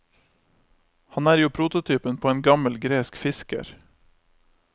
Han er jo prototypen på en gammel gresk fisker.